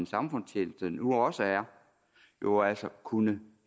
samfundstjeneste nu også er jo altså kunne